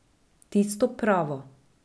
Tisto pravo.